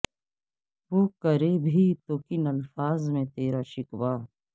وہ کریں بھی تو کن الفاظ میں تیرا شکوہ